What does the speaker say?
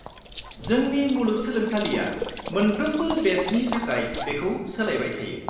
-जोंनि मुलुगसोलोंसालिया मोनफ्रोमबो बेचनि थाखाय बेखौ सोलायबाय थायो।